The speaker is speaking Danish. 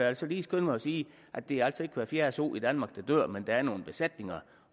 altså lige skynde mig at sige at det altså ikke er hver fjerde so i danmark der dør men at der er nogle besætninger